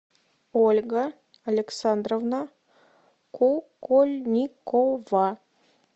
ольга александровна кукольникова